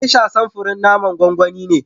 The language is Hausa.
"Geisha", samfurin naman gwangwani ne.